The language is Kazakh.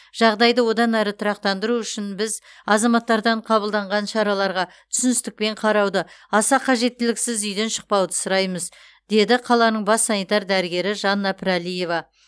жағдайды одан әрі тұрақтандыру үшін біз азаматтардан қабылданған шараларға түсіністікпен қарауды аса қажеттіліксіз үйден шықпауды сұраймыз деді қаланың бас санитар дәрігері жанна пірәлиева